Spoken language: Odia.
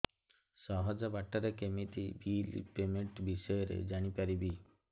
ସହଜ ବାଟ ରେ କେମିତି ବିଲ୍ ପେମେଣ୍ଟ ବିଷୟ ରେ ଜାଣି ପାରିବି